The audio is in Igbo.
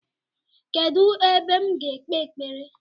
Kedụ ebe m ga ekpe ekpere?